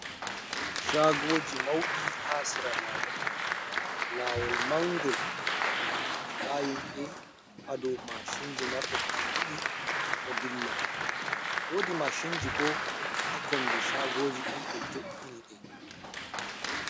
chaagooji mawɗi haa sera laawol, laawol manngol ndaa himɓee haa do mashinji marde kosɗe 2 ɗo dilla woodi mashinji boo haa kombi shagooji ɗin ɓe jo’ini ɗi.